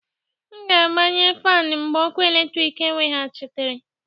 M ga-agbanye fan mgbe ọkụ eletrik eweghachitere.